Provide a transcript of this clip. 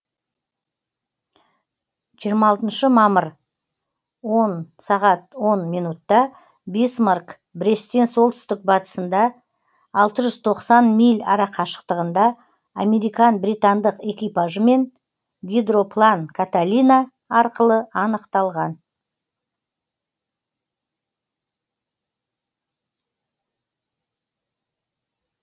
жиырма алтыншы мамыр он сағат онда бисмарк бресттен солтүстік батысында алты жүз тоқсан миль арақашықтығында американ британдық экипажымен гидроплан каталина арқылы анықталған